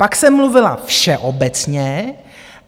Pak jsem mluvila všeobecně.